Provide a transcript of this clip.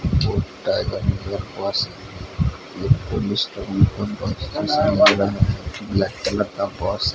black colour का purse --